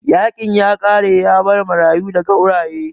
Yaƙin ya ƙare yabar marayu da gauraye